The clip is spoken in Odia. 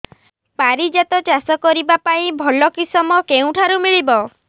ପାରିଜାତ ଚାଷ କରିବା ପାଇଁ ଭଲ କିଶମ କେଉଁଠାରୁ ମିଳିବ